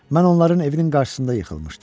Mən onların evinin qarşısında yıxılmışdım.